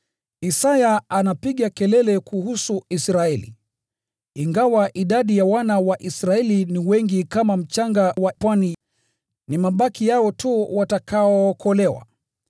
Isaya anapiga kelele kuhusu Israeli: “Ingawa idadi ya wana wa Israeli ni wengi kama mchanga wa pwani, ni mabaki yao tu watakaookolewa.